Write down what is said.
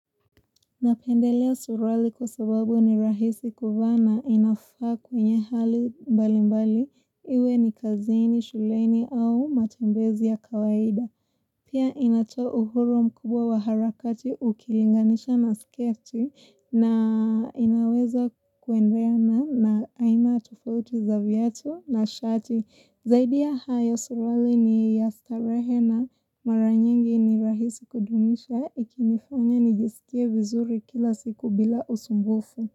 Napendelea suruali kusababu ni rahisi kufana inafaa kwenye hali mbali mbali iwe ni kazini, shuleni au matembezi ya kawaida. Pia inatoa uhuru mkubwa wa harakati ukilinganisha na sketi na inaweza kuendeana na aina tofauti za vyatu na shati. Zaidi ya hayo suruali ni ya starehe na mara nyingi ni rahisi kudumisha ikinifanya nijesikie vizuri kila siku bila usumbufu.